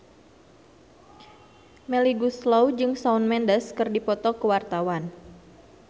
Melly Goeslaw jeung Shawn Mendes keur dipoto ku wartawan